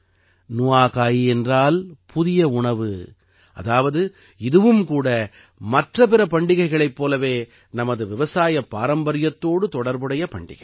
நுஆகாயி என்றால் புதிய உணவு அதாவது இதுவும் கூட மற்ற பிற பண்டிகைகளைப் போலவே நமது விவசாயப் பாரம்பரியத்தோடு தொடர்புடைய பண்டிகை